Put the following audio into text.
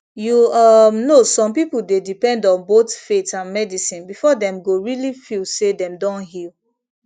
you um know some people dey depend on both faith and medicine before dem go really feel say dem don heal